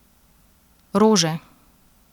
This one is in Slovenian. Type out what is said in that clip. Rože!